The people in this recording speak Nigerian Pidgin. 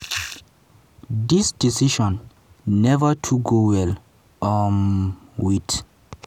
dis decision neva too go well um wit